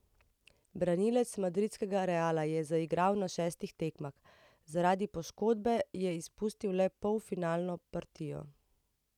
Branilec madridskega Reala je zaigral na šestih tekmah, zaradi poškodbe je izpustil le polfinalno partijo.